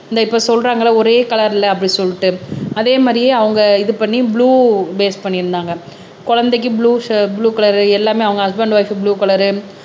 இந்த இப்ப சொல்றாங்கல்ல ஒரே கலர்ல அப்படி சொல்லிட்டு அதே மாரியே அவங்க இது பண்ணி ப்ளூ பேஸ் பண்ணியிருந்தாங்க குழந்தைக்கு ப்ளூ ஷர் ப்ளூ கலர் எல்லாமே அவங்க husband and wife blue colour